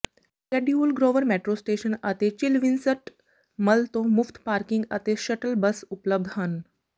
schedule grove metro station ਅਤੇ ਝੀਲਵਿਨਸਟ mall ਤੋਂ ਮੁਫਤ ਪਾਰਕਿੰਗ ਅਤੇ ਸ਼ਟਲ ਬੱਸ ਉਪਲਬਧ ਹਨ